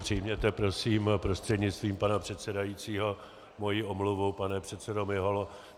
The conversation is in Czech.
Přijměte prosím prostřednictvím pana předsedajícího moji omluvu, pane předsedo Miholo.